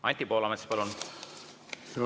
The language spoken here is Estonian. Anti Poolamets, palun!